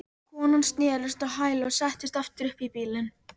Konan snerist á hæli og settist aftur upp í bílinn.